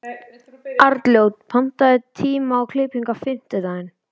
Arnljót, pantaðu tíma í klippingu á fimmtudaginn.